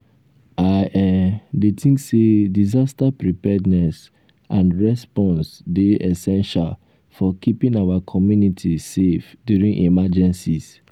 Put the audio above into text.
i um dey think say disaster preparedness and response dey essential for keeping our community um safe during emergencies.